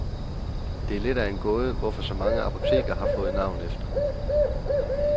Det er lidt af en gåde, hvorfor så mange apoteker har fået navn efter.